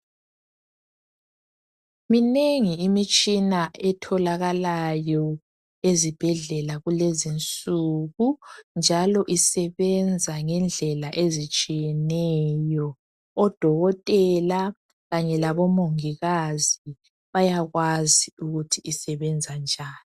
Minengi imitshina etholakalayo ezibhedlela kulezinsuku njalo isebenza ngendlela ezitshiyeneyo. Odokotela kanye labomongikazi bayakwazi ukuthi isebenza njani.